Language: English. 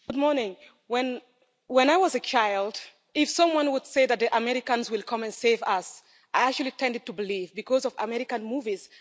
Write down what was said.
Mr President, when I was a child, if someone would say that the Americans would come and save us, I actually tended to believe it because of American movies.